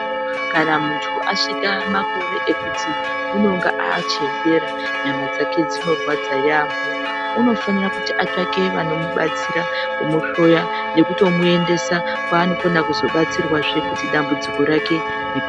Kana muntu asvika makore ekuti unonge achembera nyama dzake dzinorwadza yambo unofana kuti atsvake antu anomubatsira kumuhloya nekutomuendesa kwaanobatsirwa kuti dambudziko rake rireruke.